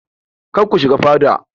Kar ku shiga fada!